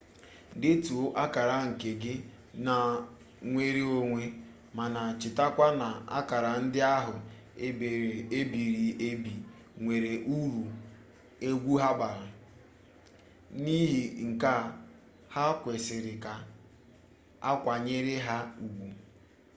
detuo akara nke gị na nwere onwe mana chetakwa na akara ndị ahụ ebiri ebi nwere uru egwu ha bara n'ihi nke a ha kwesịrị ka akwanyere ha ugwu